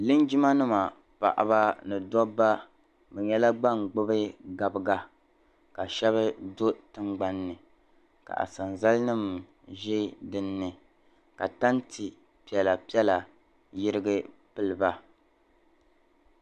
Linjimanima paɣaba ni dabba bɛ nyɛla ban gbubi gabiga ka shɛba do' tingbani ka asanzanima ʒi dini ni ka tante piɛlapiɛla yirigi m-pili ba